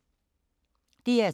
DR2